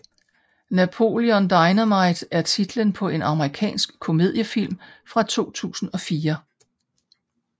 Napoleon Dynamite er titlen på en amerikansk komediefilm fra 2004